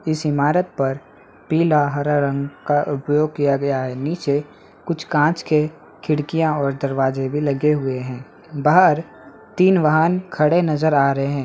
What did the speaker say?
इस इमारत पर पीला हरा रंग का उपयोग किया गया है| नीचे कुछ कांच के खिड़किया और दरवाजे भी लगे हुए है| बाहर तीन वाहन खड़े नज़र आ रहे हैं|